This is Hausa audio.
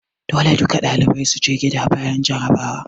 Dole duka ɗalibai su je gida bayan jarrabawa!